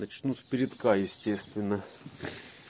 начнут с передка естественно